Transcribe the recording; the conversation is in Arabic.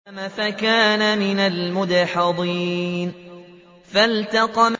فَسَاهَمَ فَكَانَ مِنَ الْمُدْحَضِينَ